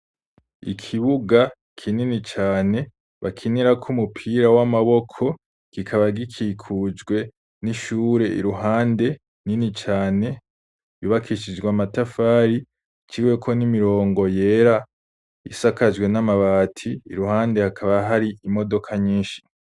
Ikibuga kinini cane bakinirako umupira w'amaboko, kikaba gikikujwe n'ishure iruhande nini cane yubakishijwe amatafari iciweko n'imirongo yera isakajwe n'amabati, iruhande hakaba hari imodoka nyinshi.